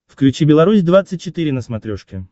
включи беларусь двадцать четыре на смотрешке